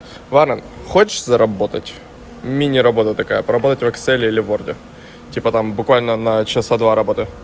ладно хочешь заработать мини работа такая поработать в экселе или ворде типа там буквально на часа два работы